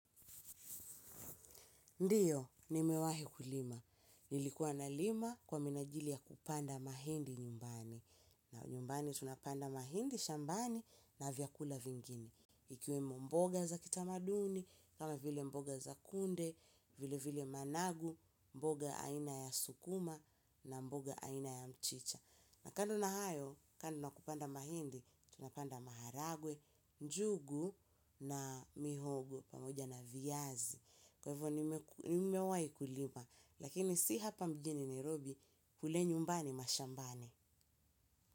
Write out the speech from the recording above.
Ndio nimewahi kulima nilikuwa nalima kwa minajili ya kupanda mahindi nyumbani na nyumbani tunapanda mahindi, shambani, na vyakula vingine. Ikiwemo mboga za kitamaduni, kama vile mboga za kunde, vile vile managu, mboga aina ya sukuma, na mboga aina ya mchicha. Na kando na hayo, kando na kupanda mahindi, tunapanda maharagwe, njugu, na mihogo, pamoja na viazi. Kwavo nimewahi kulima, lakini si hapa mjini Nairobi kule nyumbani mashambani.